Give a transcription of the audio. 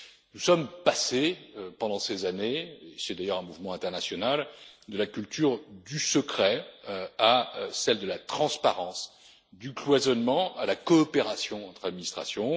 Nous sommes passés pendant ces années c'est d'ailleurs un mouvement international de la culture du secret à celle de la transparence, du cloisonnement à la coopération entre administrations.